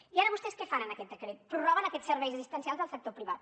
i ara vostès què fan en aquest decret prorroguen aquests serveis assistencials del sector privat